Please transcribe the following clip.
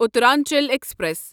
Uttaranchal express